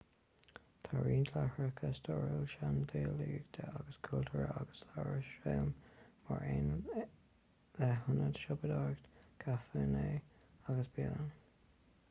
tá roinnt láithreacha stairiúla seandálaíochta agus cultúrtha ag iarúsailéim mar aon le hionaid siopadóireachta caiféanna agus bialanna